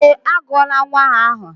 Eé, agụọla nnwa ahụ aha.